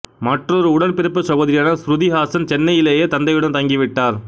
மற்றொரு உடன் பிறப்பு சகோதரியான ஸ்ருதி ஹாசன் சென்னையிலேயே தந்தையுடன் தங்கிவிட்டார்